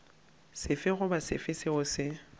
sefe goba sefe seo se